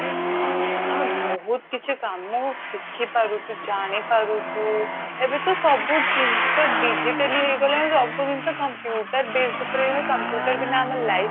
ଆମେ ବହୁତ କିଛି କାମ ଶିଖି ପାରୁଛୁ ଜାଣି ପାରୁଛୁ ଏବେ ତ ସବୁ ଜିନିଷ digitally ହେଇଗଲାଣି ସବୁ ଜିନିଷ computer based ଉପରେ computer ବିନା ଆମ life